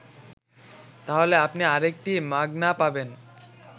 তাহলে আপনি আরেকটা মাগনা পাবেন